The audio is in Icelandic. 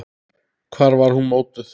Hvar var hún mótuð?